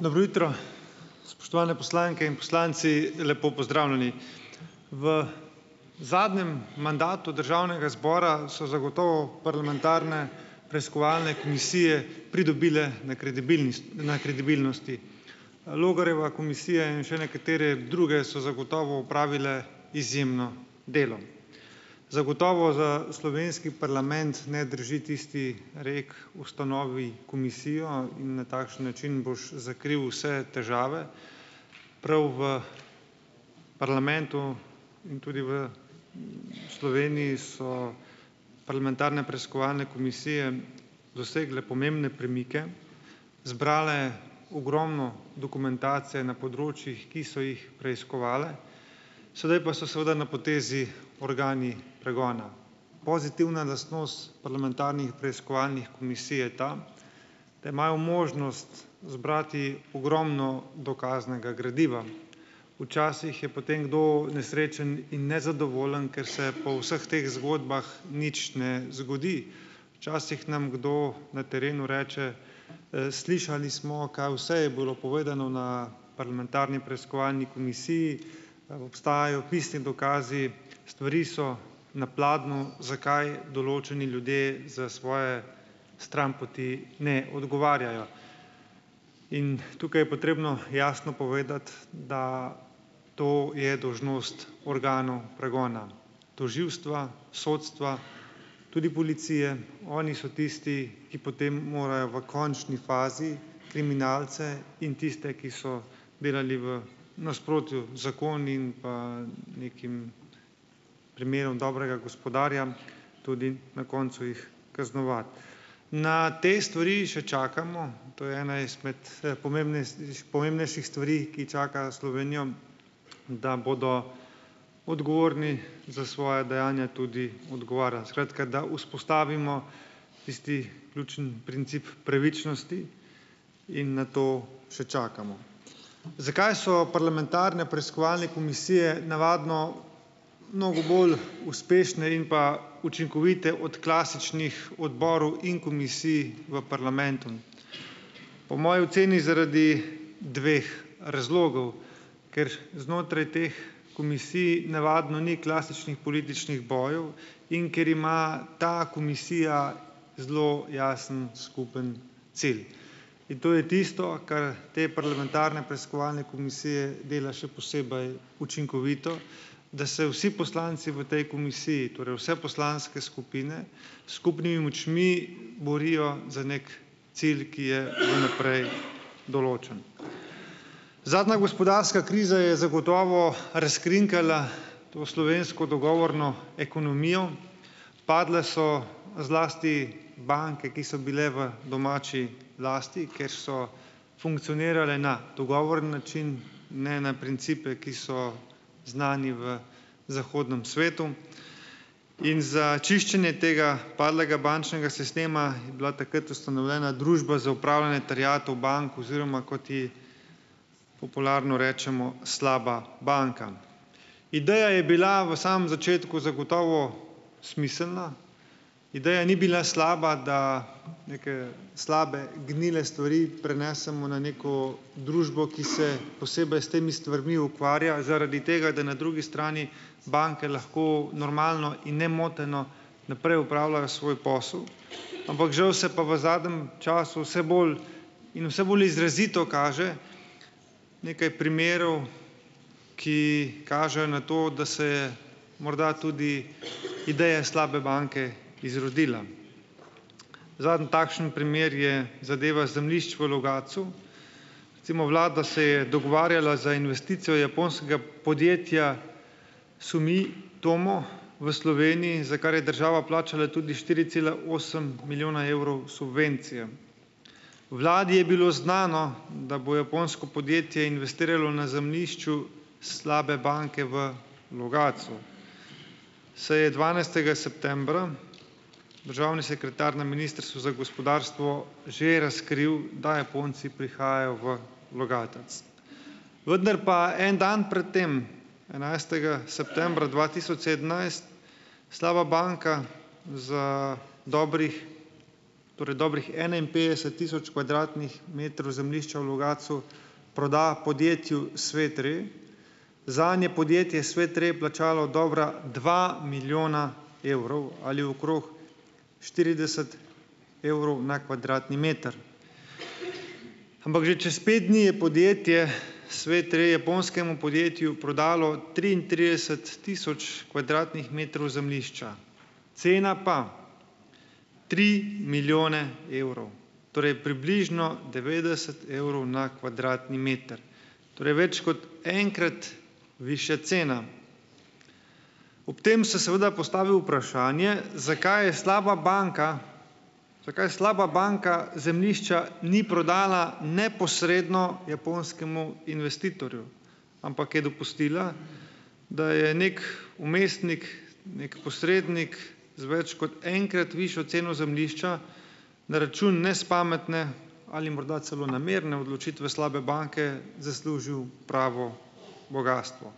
Dobro jutro! Spoštovane poslanke in poslanci, lepo pozdravljeni! V zadnjem mandatu državnega zbora so zagotovo parlamentarne preiskovalne komisije pridobile na na kredibilnosti. Logarjeva komisija in še nekatere druge so zagotovo opravile izjemno delo. Zagotovo za slovenski parlament ne drži tisti rek: "Ustanovi komisijo in na takšen način boš zakril vse težave." Prav v parlamentu in tudi v, Sloveniji so parlamentarne preiskovalne komisije dosegle pomembne premike, zbrale ogromno dokumentacije na področjih, ki so jih preiskovale, sedaj pa so seveda na potezi organi pregona. Pozitivna lastnost parlamentarnih preiskovalnih komisij je ta, da imajo možnost zbrati ogromno dokaznega gradiva. Včasih je potem kdo nesrečen in nezadovoljen, ker se po vseh teh zgodbah nič ne zgodi. Včasih nam kdo na terenu reče, "Slišali smo, kaj vse je bilo povedano na parlamentarni preiskovalni komisiji, obstajajo pisni dokazi, stvari so na pladnju. Zakaj določeni ljudi za svoje stranpoti ne odgovarjajo?" In tukaj je potrebno jasno povedati, da to je dolžnost organov pregona, tožilstva, sodstva, tudi policije. Oni so tisti, ki potem morajo v končni fazi kriminalce in tiste, ki so delali v nasprotju z zakoni, in pa nekim primerom dobrega gospodarja tudi na koncu jih kaznovati. Na te stvari še čakamo. To je ena izmed, pomembnejstiš pomembnejših stvari, ki čakajo Slovenijo, da bodo odgovorni za svoja dejanja tudi odgovarjali. Skratka, da vzpostavimo tisti ključni princip pravičnosti in na to še čakamo. Zakaj so parlamentarne preiskovalne komisije navadno mnogo bolj uspešne in pa učinkovite od klasičnih odborov in komisij v parlamentu? Po moji oceni zaradi dveh razlogov. Ker znotraj teh komisij navadno ni klasičnih političnih bojev in ker ima ta komisija zelo jasen skupni cilj. In to je tisto, kar te parlamentarne preiskovalne komisije dela še posebej učinkovite, da se vsi poslanci v tej komisiji, torej vse poslanske skupine, s skupnimi močmi borijo za neki cilj, ki je vnaprej določen. Zadnja gospodarska kriza je zagotovo razkrinkala to slovensko dogovorno ekonomijo, padle so zlasti banke, ki so bile v domači lasti, ker so funkcionirale na dogovorni način, ne na principe, ki so znani v zahodnem svetu. In za čiščenje tega padlega bančnega sistema je bila takrat ustanovljena Družba za upravljanje terjatev bank oziroma, kot ji popularno rečemo, slaba banka. Ideja je bila v samem začetku zagotovo smiselna. Ideja ni bila slaba, da neke slabe gnile stvari prenesemo na neko družbo, ki se posebej s temi stvarmi ukvarja zaradi tega, da na drugi strani banke lahko normalno in nemoteno naprej opravljajo svoj posel, ampak žal se pa v zadnjem času vse bolj in vse bolj izrazito kaže nekaj primerov, ki kažejo na to, da se je morda tudi ideja slabe banke izrodila. Zadnji takšen primer je zadeva zemljišč v Logatcu. Recimo, vlada se je dogovarjala za investicijo japonskega podjetja Sumitomo v Sloveniji, za kar je država plačala tudi štiri cela osem milijona evrov subvencije. Vladi je bilo znano, da bo japonsko podjetje investiralo na zemljišču slabe banke v Logatcu, saj je dvanajstega septembra državni sekretar na ministrstvu za gospodarstvo že razkril, da Japonci prihajajo v Logatec. Vendar pa en dan pred tem, enajstega septembra dva tisoč sedemnajst, slaba banka za dobrih, torej dobrih enainpetdeset tisoč kvadratnih metrov zemljišča v Logatcu proda podjetju Svet Re, zanje podjetje Svet Re plačalo dobra dva milijona evrov ali okrog štirideset evrov na kvadratni meter. Ampak že čez pet dni je podjetje Svet Re japonskemu podjetju prodalo triintrideset tisoč kvadratnih metrov zemljišča. Cena pa tri milijone evrov. Torej, približno devetdeset evrov na kvadratni meter. Torej, več kot enkrat višja cena. Ob tem se seveda postavi vprašanje, zakaj je slaba banka, zakaj slaba banka zemljišča ni prodala neposredno japonskemu investitorju, ampak je dopustila, da je neki vmesnik, neki posrednik z več kot enkrat višjo ceno zemljišča na račun nespametne ali morda celo namerne odločitve slabe banke zaslužil pravo bogastvo.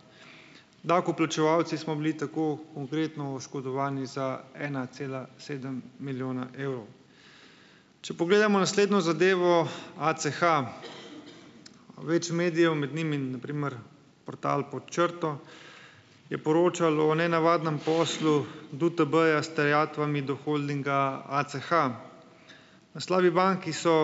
Davkoplačevalci smo bili tako konkretno oškodovani za ena cela sedem milijona evrov. Če pogledamo naslednjo zadevo, ACH, več medijev, med njimi na primer portal Pod črto je poročalo o nenavadnem poslu DUTB-ja s terjatvami do holdinga ACH. Naslovi bank, ki so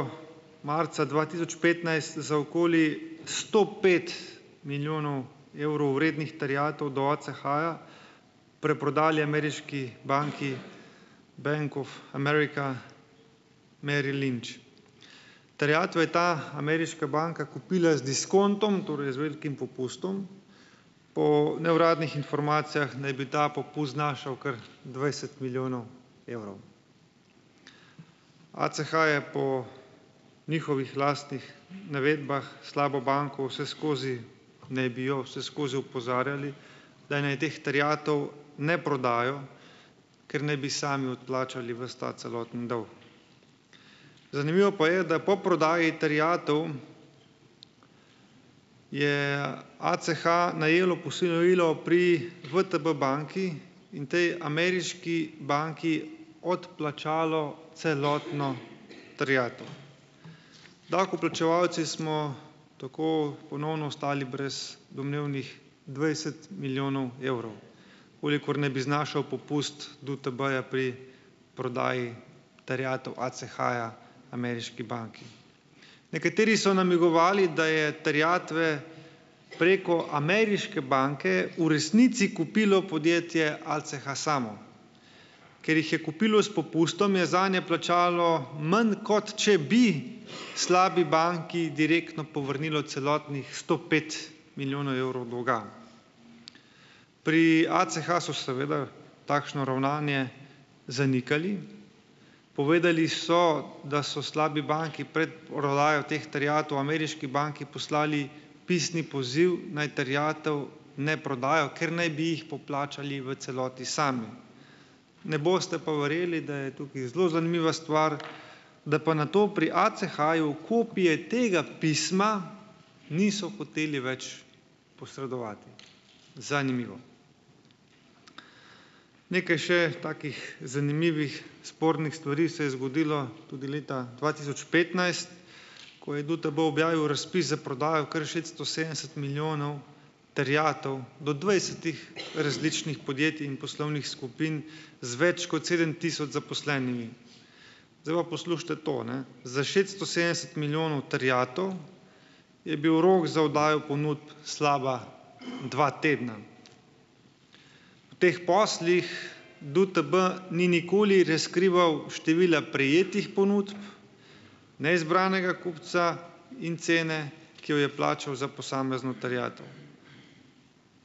marca dva tisoč petnajst za okoli sto pet milijonov evrov vrednih terjatev do ACH-ja preprodali ameriški banki Bank of America Merrill Lynch. Terjatve je ta ameriška banka kupila z diskontom, torej z velikim popustom. Po neuradnih informacijah naj bi ta popust znašal kar dvajset milijonov evrov. ACH je po njihovih lastnih navedbah slabo banko vse skozi, naj bi jo vse skozi opozarjali, da naj teh terjatev ne prodajo, ker naj bi sami odplačali ves ta celotni dolg. Zanimivo pa je, da po prodaji terjatev je ACH najelo posojilo pri VTB banki in potem ameriški banki odplačalo celotno terjatev. Davkoplačevalci smo tako ponovno ostali brez domnevnih dvajset milijonov evrov, kolikor naj bi znašal popust DUTB-ja pri prodaji terjatev ACH-ja ameriški banki. Nekateri so namigovali, da je terjatve preko ameriške banke v resnici kupilo podjetje ACH samo. Ker jih je kupilo s popustom, je zanje plačalo manj, kot če bi slabi banki direktno povrnilo celotnih sto pet milijonov evrov dolga. Pri ACH so seveda takšno ravnanje zanikali. Povedali so, da so slabi banki prej prodajo teh terjatev ameriški banki poslali pisni poziv, naj terjatev ne prodajo, ker naj bi jih poplačali v celoti sami. Ne boste pa verjeli, da je tukaj zelo zanimiva stvar, da pa na to pri ACH-ju kopije tega pisma niso hoteli več posredovati. Zanimivo. Nekaj še takih zanimivih spornih stvari se je zgodilo tudi leta dva tisoč petnajst, ko je DUTB objavil razpis za prodajo kar šeststo sedemdeset milijonov terjatev do dvajsetih različnih podjetij in poslovnih skupin z več kot sedem tisoč zaposlenimi. Zdaj pa poslušajte to, ne. Za šeststo sedemdeset milijonov terjatev je bil rok za oddajo ponudb slaba dva tedna. V teh poslih, poslih DUTB ni nikoli razkrival števila prejetih ponudb, neizbranega kupca in cene, ki jo je plačal za posamezno terjatev.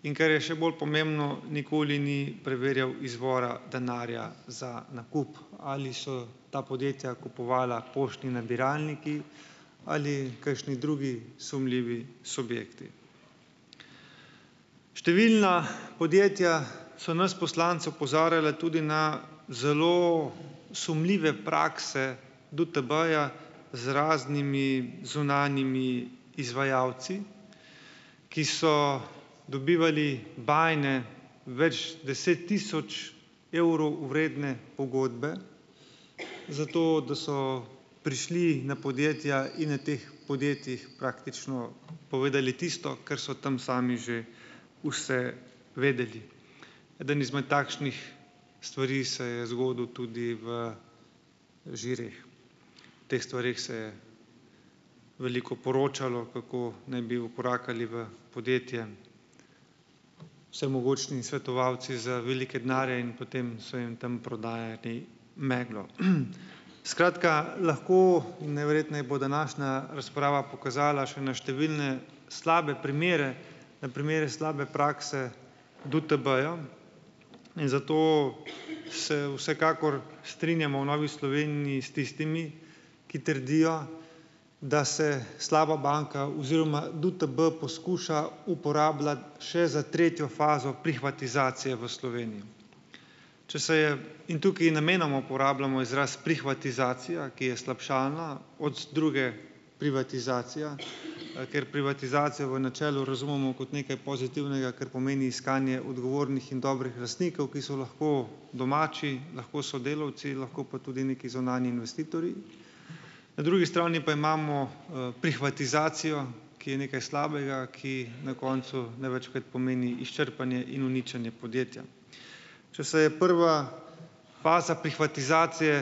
In kar je še bolj pomembno, nikoli ni preverjal izvora denarja za nakup, ali so ta podjetja kupovala poštni nabiralniki ali kakšni drugi sumljivi subjekti. Številna podjetja so nas poslance opozarjala tudi na zelo sumljive prakse DUTB-ja z raznimi zunanjimi izvajalci, ki so dobivali bajne več deset tisoč evrov vredne pogodbe zato, da so prišli na podjetja in na teh podjetjih praktično povedali tisto, kar so tam sami že vse vedeli. Eden izmed takšnih stvari se je zgodil tudi v Žireh. O teh stvareh se je veliko poročalo, kako naj bi vkorakali v podjetje vsemogočni svetovalci za velike denarje in potem so jim tam prodajali meglo. Skratka, lahko, najverjetneje bo današnja razprava pokazala še na številne slabe primere, na primere slabe prakse DUTB-ja in zato se vsekakor strinjamo v Novi Sloveniji s tistimi, ki trdijo, da se slaba banka oziroma DUTB poskuša uporabljati še za tretjo fazo "prihvatizacije" v Sloveniji. Če se je, in tukaj namenoma uporabljamo izraz "prihvatizacija", ki je slabšalna od druge, privatizacija, kjer privatizacijo v načelu razumemo kot nekaj pozitivnega, ker pomeni iskanje odgovornih in dobrih lastnikov, ki so lahko domači, lahko so delavci, lahko pa tudi neki zunanji investitorji. Na drugi strani pa imamo, prihvatizacijo, ki je nekaj slabega, ki na koncu največkrat pomeni izčrpanje in uničenje podjetja. Če se je prva faza prihvatizacije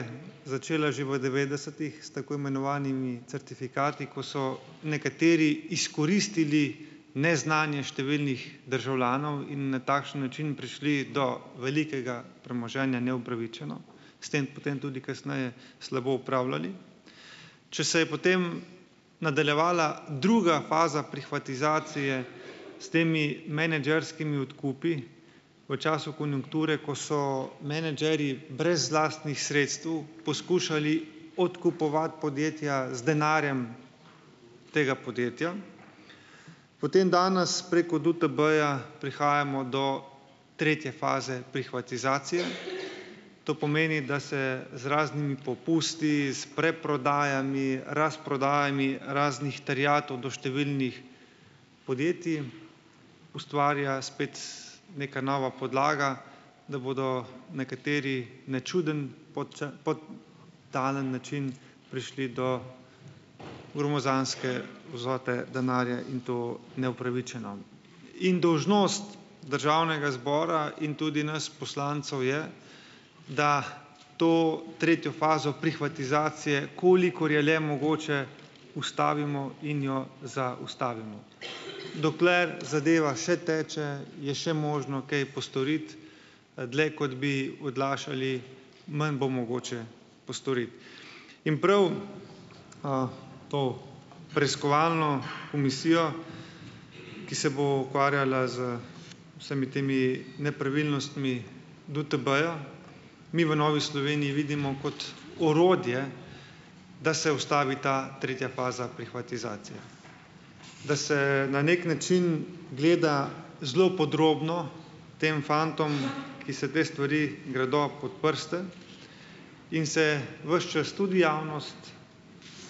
začela že v devetdesetih s tako imenovanimi certifikati, ko so nekateri izkoristili neznanje številnih državljanov in na takšen način prišli do velikega premoženja neupravičeno, s tem potem tudi kasneje slabo upravljali. Če se je, potem nadaljevala druga faza prihvatizacije s temi menedžerskimi odkupi v času konjunkture, ko so menedžerji brez lastnih sredstev poskušali odkupovati podjetja z denarjem tega podjetja, potem danes preko DUTB-ja prihajamo do tretje faze prihvatizacije, to pomeni, da se z raznimi popusti, s preprodajami, razprodajami raznih terjatev do številnih podjetij ustvarja spet neka nova podlaga, da bodo nekateri na čudno podtalen način prišli do gromozanske vsote denarja in to neupravičeno. In dolžnost državnega zbora in tudi nas poslancev je, da to tretjo fazo prihvatizacije, kolikor je le mogoče, ustavimo in jo zaustavimo. Dokler zadeva še teče, je še možno kaj postoriti, dlje kot bi odlašali, manj bo mogoče postoriti. In prav, to preiskovalno komisijo, ki se bo ukvarjala v vsemi temi nepravilnostmi DUTB-ja, mi v Novi Sloveniji vidimo kot orodje, da se ustavi ta tretja faza prihvatizacije, da se na neki način gleda zelo podrobno tem fantom, ki se te stvari gredo, pod prste in se ves čas tudi javnost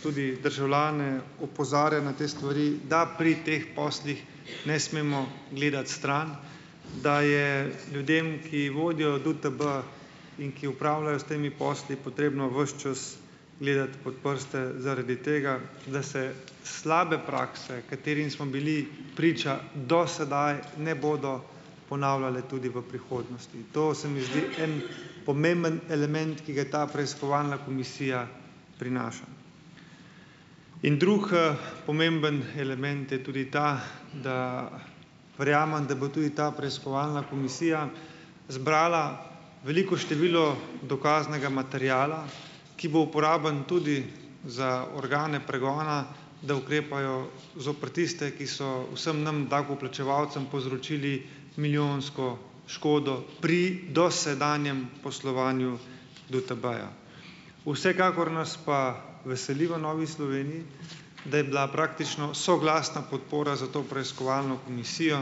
tudi državljane opozarja na te stvari, da pri teh poslih ne smemo gledati stran, da je ljudem, ki vodijo DUTB in ki upravljajo s temi posli, potrebno ves čas gledati pod prste zaradi tega, da se slabe prakse, katerim smo bili priča do sedaj, ne bodo ponavljale tudi v prihodnosti. To se mi zdi en pomemben element, ki ga je ta preiskovalna komisija prinaša. In drugi, pomemben element je tudi ta, da verjamem, da bo tudi ta preiskovalna komisija zbrala veliko število dokaznega materiala, ki bo uporaben tudi za organe pregona, da ukrepajo zoper tiste, ki so vsem nam davkoplačevalcem povzročili milijonsko škodo pri do sedanjem poslovanju DUTB-ja. Vsekakor nas pa veseli v Novi Sloveniji, da je bila praktično soglasna podpora za to preiskovalno komisijo,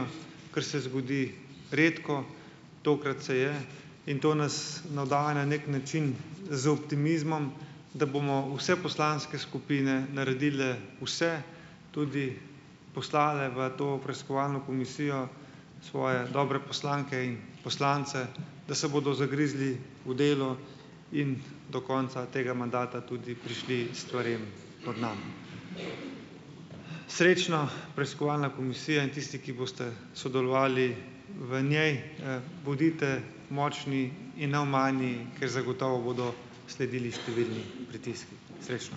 kar se zgodi redko, tokrat se je, in to nas navdaja na neki način z optimizmom, da bomo vse poslanske skupine naredile vse, tudi poslali v to preiskovalno komisijo svoje dobre poslanke in poslance, da se bodo zagrizli v delo in do konca tega mandata tudi prišli stvarem do dna. Srečno, preiskovalna komisija in tisti, ki boste sodelovali v njej. Bodite močni in neomajni, ker zagotovo bodo sledili številni pritiski. Srečno!